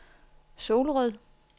Solrød